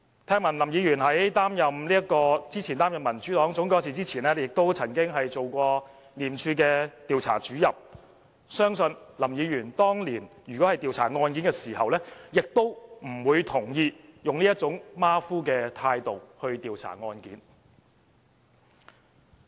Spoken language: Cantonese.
聽聞林議員過去在擔任民主黨總幹事前，曾經擔任廉署的調查主任，相信林議員當年調查案件時，也不會同意以這種馬虎的態度來調查案件。